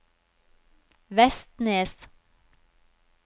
Vestnes